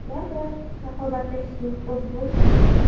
Ular bilan raqobatlashishning o‘zi bo‘lmaydi.